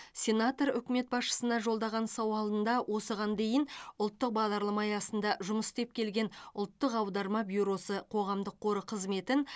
сенатор үкімет басшысына жолдаған сауалында осыған дейін ұлттық бағдарлама аясында жұмыс істеп келген ұлттық аударма бюросы қоғамдық қоры қызметін